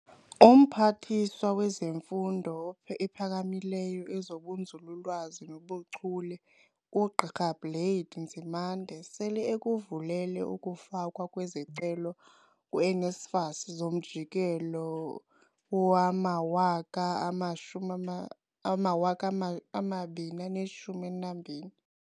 UMphathiswa wezeMfundo ePhakamileyo, ezobuNzulu-lwazi nobu Chule, uGqi Blade Nzimande, sele ekuvulele ukufakwa kwezicelo ku-NSFAS zomjikelo wowama-2012.